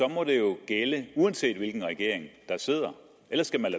må det jo gælde uanset hvilken regering der sidder ellers skal man